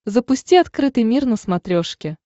запусти открытый мир на смотрешке